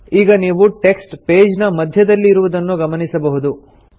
ನೀವು ಈಗ text page ನ ಮಧ್ಯದಲ್ಲಿ ಇರುವುದನ್ನು ಗಮನಿಸಬಹುದು